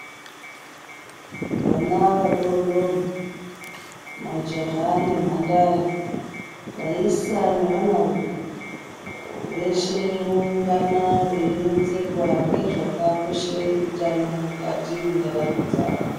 Vana vadodori, majaha nemhandara, vaisa nevanarume, veshe voungana veironzerwa ngezvakakoshera utano mukati mwendaramo dzavo.